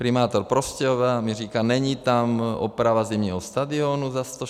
Primátor Prostějova mi říká: Není tam oprava zimního stadionu za 168 milionů.